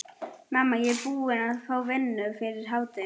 Mamma, ég er búinn að fá vinnu fyrir hádegi.